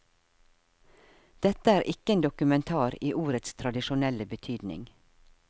Dette er ikke en dokumentar i ordets tradisjonelle betydning.